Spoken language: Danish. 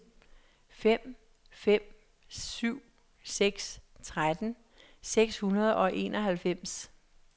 fem fem syv seks tretten seks hundrede og enoghalvfems